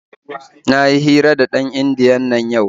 Na yi hira da ɗan indiyan nan yau.